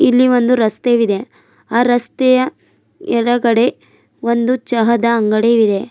ಇಲ್ಲಿ ಒಂದು ರಸ್ತೆಯು ವಿದೆ ಆ ರಸ್ತೆಯ ಎಡಗಡೆ ಒಂದು ಚಹದ ಅಂಗಡಿಯು ವಿದೆ.